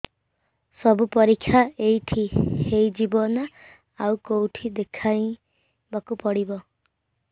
ସବୁ ପରୀକ୍ଷା ଏଇଠି ହେଇଯିବ ନା ଆଉ କଉଠି ଦେଖେଇ ବାକୁ ପଡ଼ିବ